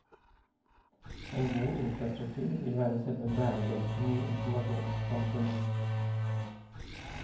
En god infrastruktur vil være selve bærebjelken i informasjonssamfunnet.